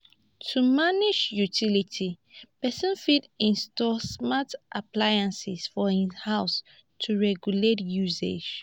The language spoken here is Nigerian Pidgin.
to manage utiility person fit install smart appliances for im house to regulate usage